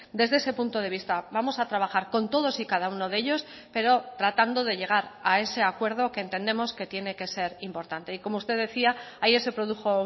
desde ese punto de vista vamos a trabajar con todos y cada uno de ellos pero tratando de llegar a ese acuerdo que entendemos que tiene que ser importante y como usted decía ayer se produjo